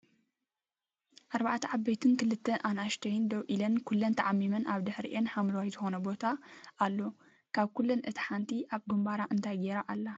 ኣርባዕተ ዓበይትን ክልተ ኣና እሽእሽተይ ደው ኢለን ኩለን ተዓሚመን ኣብ ድሕሪአን ሓምለዋይ ዝኮነ ቦታ ኣሎ ካብ ኩለን እታ ሓንቲ ኣብ ግምባራ እንታይ ጌራ ኣላ ?